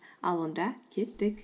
ал онда кеттік